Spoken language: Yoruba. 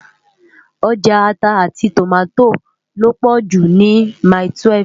Òjá àtá áti tómátó lópò jú ni mái-túwèf